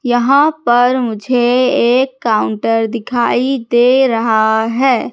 यहां पर मुझे एक काउंटर दिखाई दे रहा हैं।